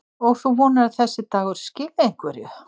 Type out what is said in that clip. Og þú vonar að þessi dagur skili einhverju?